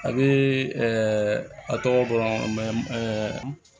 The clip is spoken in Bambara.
A bɛ a tɔgɔ dɔn